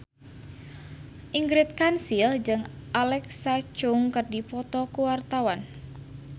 Ingrid Kansil jeung Alexa Chung keur dipoto ku wartawan